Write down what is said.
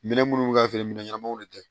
Minɛn minnu bɛ ka feere minɛn ɲɛnamaw de tɛ